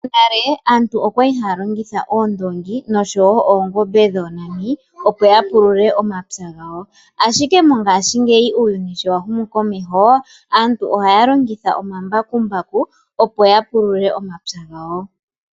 Monale aantu okwa li haya longitha oondongi oshowo oongombe dhoonani opo ya pulule omapya gawo ashike mongaashingeyi uuyuni sho wa humu komeho aantu ohaya longitha omambakumbaku opo ya pulule omapya gawo.